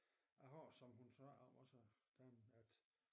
Jeg har som hun sagde også damen at